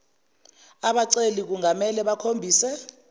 abaceli kungamele bakhombise